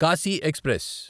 Kashi express